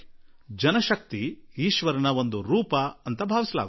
ಜನಶಕ್ತಿ ಈಶ್ವರ ಸ್ವರೂಪಿ ಎಂದೇ ಪರಿಗಣಿತವಾಗಿದೆ